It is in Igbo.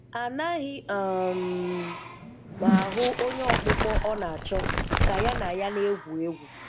Anaghị um m ahụ onye ọkpụkpọ ọ na-achọ ka ya na ya na-egwu egwu